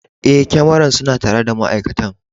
Eh, kyamaran suna tare da ma'aikatan.